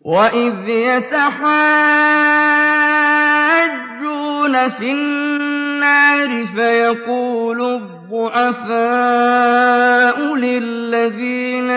وَإِذْ يَتَحَاجُّونَ فِي النَّارِ فَيَقُولُ الضُّعَفَاءُ لِلَّذِينَ